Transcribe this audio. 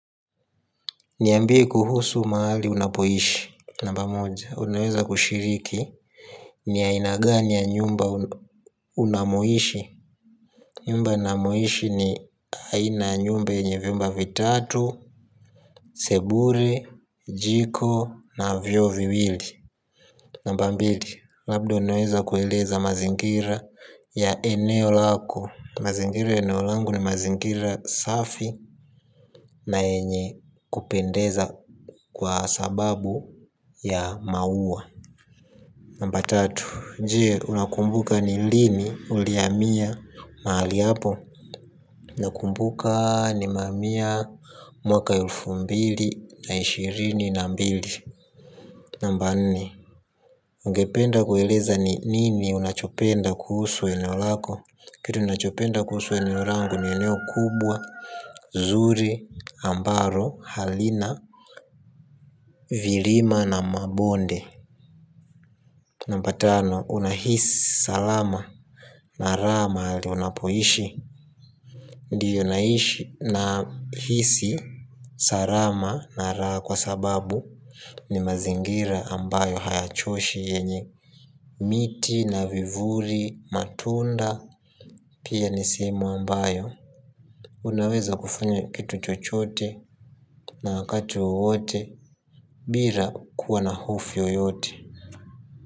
Niambie kuhusu mahali unapoishi. Namba moja, unaweza kushiriki. Ni aina gani ya nyumba unamohishi. Nyumba namohishi ni aina ya nyumba yenye vyumba vitatu, sebure, jiko na vyo viwili. Namba mbili, labda unaweza kueleza mazingira ya eneo lako. Mazingira ya eneo langu ni mazingira safi, na yenye kupendeza kwa sababu ya maua. Namba tatu, jee, unakumbuka ni lini uliamia maali hapo nakumbuka nimeamia mwaka elfu mbili na ishirini na mbili. Namba nne, ungependa kueleza ni nini unachopenda kuhusu eneo lako. Kitu ninachopenda kuhusu eneo rangu ni eneo kubwa, zuri, ambaro, halina, virima na mabonde. Namba tano, unahis salama na raha mahali unapoishi. Ndiyo nahisi, sarama na raha kwa sababu ni mazingira ambayo hayachoshi yenye miti na vivuri matunda pia ni sehemu ambayo unaweza kufanya kitu chochote na wakati wowote bira kuwa na hufo yoyote.